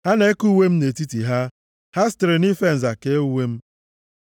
Ha na-eke uwe m nʼetiti ha, ha sitere nʼife nza kee uwe m.